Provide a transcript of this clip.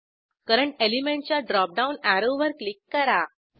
current element च्या dropdown अॅरोवर click करा